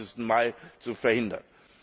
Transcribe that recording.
25.Mai zu verhindern.